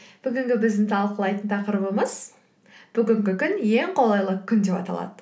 бүгінгі біздің талқылайтын тақырыбымыз бүгінгі күн ең қолайлы күн деп аталады